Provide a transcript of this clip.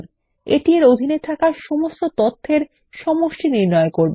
এটি এর অধীনে থাকা সমস্ত তথ্যের সমষ্টি নির্ণয় করবে